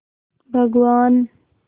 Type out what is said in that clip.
भगवान्